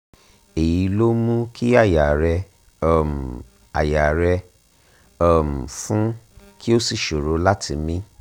èyí ló ń mú kí àyà rẹ um àyà rẹ um fún kí o sì ṣòro láti mí